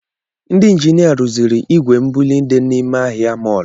Ndị ejinịa rụziri ìgwè mbuli dị n’ime ahịa mọlụ